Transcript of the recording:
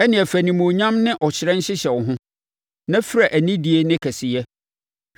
Ɛnneɛ fa animuonyam ne ɔhyerɛn hyehyɛ wo ho, na fira anidie ne kɛseyɛ.